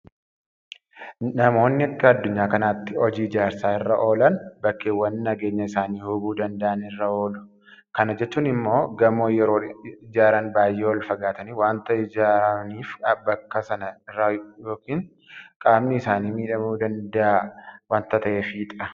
Namoonni akka addunyaa kanaatti hojii ijaarsaa irra oolan bakkeewwan nageenya isaanii hubuu danda'an irra oolu. Kana jechuun immoo gamoo yeroo ijaaran baay'ee olfagaatanii waanta hojjetaniif bakka sana irraa yookufan qaamni isaanii miidhamuu danda'a waanta ta'eefidha.